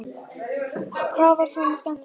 Hvað var svona skemmtilegt fram undan?